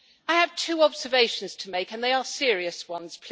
I have two observations to make, and they are serious ones.